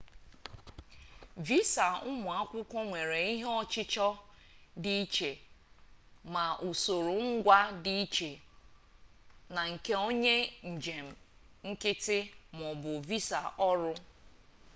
visa ụmụ akwụkwọ nwere ihe ọchịchọ dị iche ma usoro ngwa dị iche na nke onye njem nkịtị maọbụ visa ọrụ